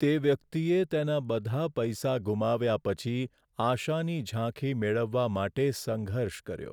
તે વ્યક્તિએ તેના બધા પૈસા ગુમાવ્યા પછી આશાની ઝાંખી મેળવવા માટે સંઘર્ષ કર્યો.